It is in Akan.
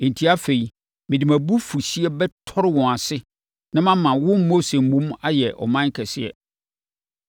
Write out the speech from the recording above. Enti afei, mede mʼabufuhyeɛ bɛtɔre wɔn ase na mama wo Mose mmom ayɛ ɔman kɛseɛ.”